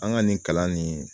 An ga nin kalan nin